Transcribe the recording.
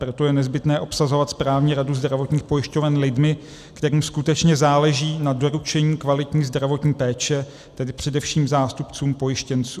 Proto je nezbytné obsazovat správní radu zdravotních pojišťoven lidmi, kterým skutečně záleží na doručení kvalitní zdravotní péče, tedy především zástupcům pojištěnců.